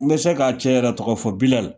N bɛ se k'a cɛ yɛrɛ tɔgɔ fɔ Bilɛri